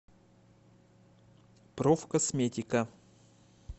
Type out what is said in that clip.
профкосметика